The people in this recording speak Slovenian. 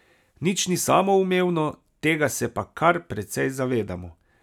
Nič ni samoumevno, tega se pa kar precej zavedamo.